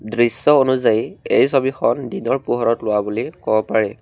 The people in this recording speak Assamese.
দৃশ্য অনুযায়ী এই ছবিখন দিনৰ পোহৰত লোৱা বুলি ক'ব পাৰি।